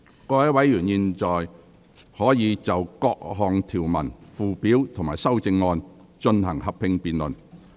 各位委員現在可以就各項條文、附表及修正案，進行合併辯論。